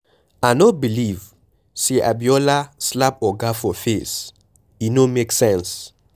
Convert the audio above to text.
I no believe say Abiola slap Oga for face. E no make sense.